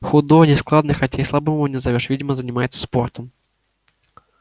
худой нескладный хотя и слабым его не назовёшь видимо занимается спортом